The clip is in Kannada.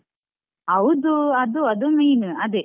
ಹೌದು, ಅದು ಅದು main ಅದೆ.